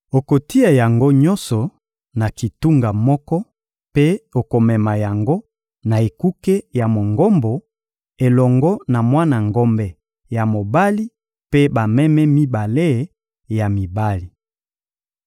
Okotia yango nyonso na kitunga moko mpe okomema yango na ekuke ya Mongombo, elongo na mwana ngombe ya mobali mpe bameme mibale ya mibali.